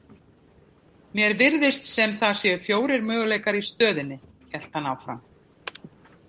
Mér virðist sem það séu fjórir möguleikar í stöðunni, hélt hann áfram.